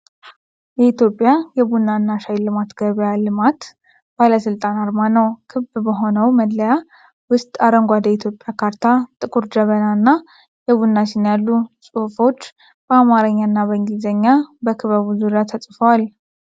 የኢትዮጵያ የቡና እና ሻይ ልማትና ገበያ ልማት ባለሥልጣን አርማ ነው። ክብ በሆነው መለያ ውስጥ አረንጓዴ የኢትዮጵያ ካርታ፣ ጥቁር ጀበና እና የቡና ስኒ አሉ። ጽሑፎች በአማርኛ እና በእንግሊዝኛ በክበቡ ዙሪያ ተጽፈዋል።